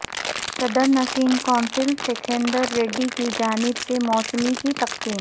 صدرنشین council Sukhender Reddy کی جانب سے موسمبی کی تقسیم